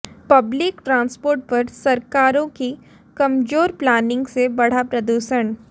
public transport पर सरकारों की कमजोर प्लानिंग से बढ़ा प्रदूषण